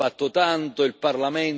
il Consiglio ha bloccato.